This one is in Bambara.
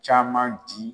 Caman di